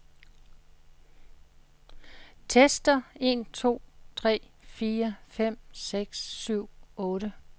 Tester en to tre fire fem seks syv otte.